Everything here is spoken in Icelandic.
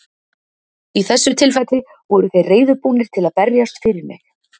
Í þessu tilfelli voru þeir reiðubúnir til að berjast fyrir mig.